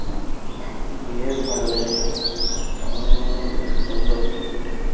জিলেবী টা? বেশ ভালো লেগেছিলো । নরোম নরোম বেশ সুন্দর জিলেবী টা ।